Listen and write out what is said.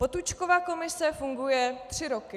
Potůčkova komise funguje tři roky.